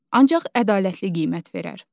Ancaq ədalətli qiymət verər.